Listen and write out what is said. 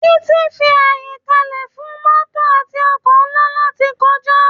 Títì fi àyè kalẹ fún mótò àti ọkọ̀ ńlá láti kọjá